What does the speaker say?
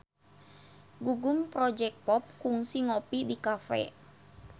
Gugum Project Pop kungsi ngopi di cafe